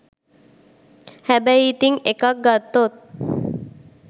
හැබැයි ඉතිං එකක් ගත්තොත්